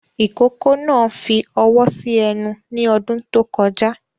Ìkókó náà fi ọwọ́ sí ẹnu ní ọdún tó kọjá